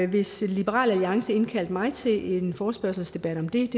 hvis liberal alliance indkaldte mig til en forespørgselsdebat om det